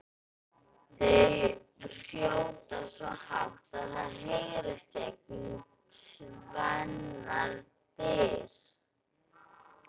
Þau hrjóta svo hátt að það heyrist gegnum tvennar dyr!